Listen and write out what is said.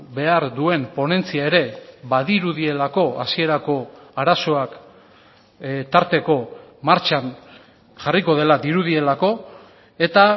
behar duen ponentzia ere badirudielako hasierako arazoak tarteko martxan jarriko dela dirudielako eta